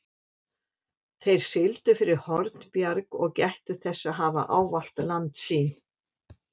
Þeir sigldu fyrir Hornbjarg og gættu þess að hafa ávallt landsýn.